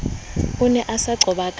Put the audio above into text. o ne a nqoba ka